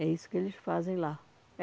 É isso que eles fazem lá.